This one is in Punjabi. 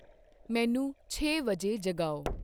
ਮੈਨੂੰ ਛੇ ਵਜੇ ਜਗਾਓ